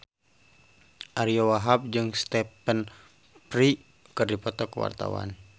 Ariyo Wahab jeung Stephen Fry keur dipoto ku wartawan